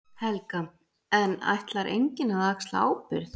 Helga: En ætlar enginn að axla ábyrgð?